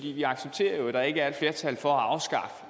vi accepterer jo at der ikke er et flertal for